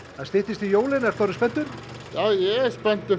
það styttist í jólin ertu orðinn spenntur já ég er spenntur